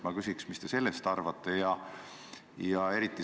Mida te sellest arvate?